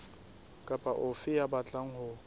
kapa ofe ya batlang ho